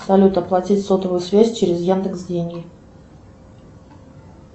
салют оплатить сотовую связь через яндекс деньги